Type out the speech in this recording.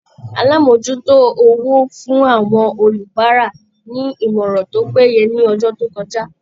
Alamojuto owó fún àwọn olubara ní ìmọràn tó péye ni ọjọ to kọjá.